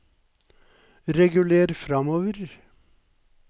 reguler framover